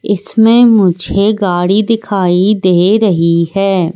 इसमें मुझे गाड़ी दिखाई दे रही है।